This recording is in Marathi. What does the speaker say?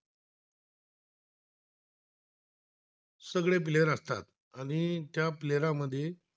सगळे फ्लेवर असतात आणि त्या प्लेयर मध्ये